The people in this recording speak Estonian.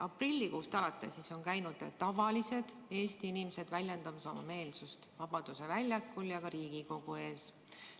Aprillikuust alates on käinud tavalised Eesti inimesed ja väljendanud oma meelsust Vabaduse väljakul ja ka Riigikogu ees.